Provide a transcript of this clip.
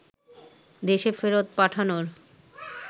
দেশে ফেরত পাঠানোর